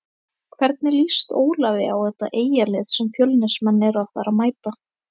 Hvernig lýst Ólafi á þetta Eyjalið sem Fjölnismenn eru að fara að mæta?